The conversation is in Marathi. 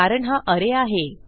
कारण हा अरे आहे